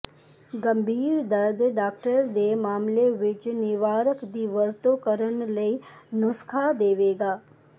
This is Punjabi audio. ਗੰਭੀਰ ਦਰਦ ਡਾਕਟਰ ਦੇ ਮਾਮਲੇ ਵਿਚ ਿਨਵਾਰਕ ਦੀ ਵਰਤੋ ਕਰਨ ਲਈ ਨੁਸਖ਼ਾ ਦੇਵੇਗਾ